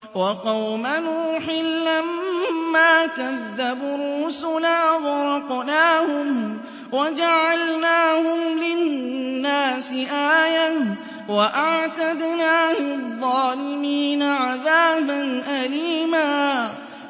وَقَوْمَ نُوحٍ لَّمَّا كَذَّبُوا الرُّسُلَ أَغْرَقْنَاهُمْ وَجَعَلْنَاهُمْ لِلنَّاسِ آيَةً ۖ وَأَعْتَدْنَا لِلظَّالِمِينَ عَذَابًا أَلِيمًا